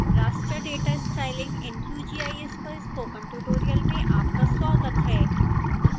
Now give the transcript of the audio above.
raster data styling in qgis पर spoken tutorial में आपका स्वागत है